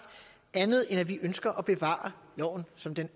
andet end at vi ønsker at bevare loven som den